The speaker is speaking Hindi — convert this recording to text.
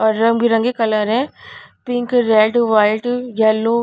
और रंगबिरंगे कलर है पिंक रेड वाइट येलो --